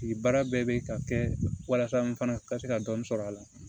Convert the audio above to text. Baara bɛɛ bɛ ka kɛ walasa n fana ka se ka dɔnni sɔrɔ a la